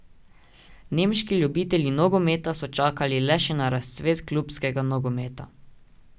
Nemški ljubitelji nogometa so čakali le še na razcvet klubskega nogometa.